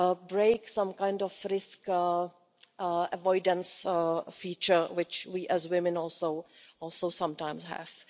to break some kind of risk avoidance feature, which we as women also sometimes have.